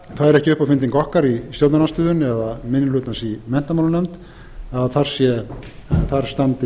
það er ekki uppáfynding okkar í stjórnarandstöðunni eða minni hlutans í menntamálanefnd að þar standi